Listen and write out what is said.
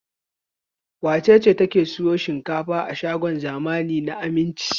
Wace ce take sayan shinkafa a shagon zamani na Aminci?